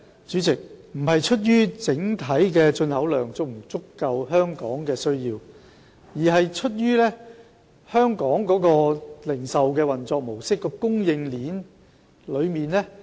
主席，問題並不在於整體進口量能否滿足香港市民的需要，而在於香港的零售運作模式和供應鏈。